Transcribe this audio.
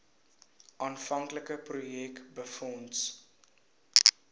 aanvanklike projek befonds